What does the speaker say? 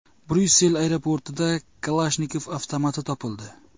Bryussel aeroportida Kalashnikov avtomati topildi.